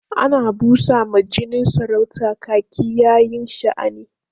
Ana busa ma jinin saurata kaki yayin sha'ani.